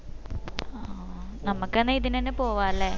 ആ ആ നമ്മക്ക് എന്നാ ഇതിനെന്നെ പോവാ അല്ലെ